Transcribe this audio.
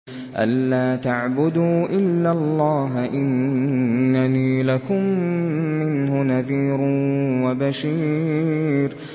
أَلَّا تَعْبُدُوا إِلَّا اللَّهَ ۚ إِنَّنِي لَكُم مِّنْهُ نَذِيرٌ وَبَشِيرٌ